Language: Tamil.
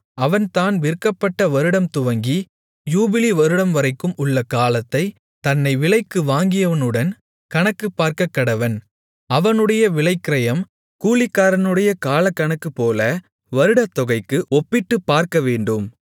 அவன் தான் விற்கப்பட்ட வருடம் துவங்கி யூபிலி வருடம்வரைக்கும் உள்ள காலத்தைத் தன்னை விலைக்கு வாங்கியவனுடன் கணக்குப் பார்க்கக்கடவன் அவனுடைய விலைக்கிரயம் கூலிக்காரனுடைய காலக்கணக்குப்போல வருடத்தொகைக்கு ஒப்பிட்டுப்பார்க்கவேண்டும்